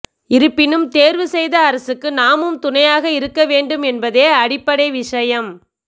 இருப்பினும் தேர்வு செய்த அரசுக்கு நாமும் துணையாக இருக்க வேண்டும் என்பதே அடிப்படை விஷயம்